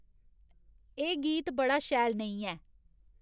एह् गीत बड़ा शैल नेईं ऐ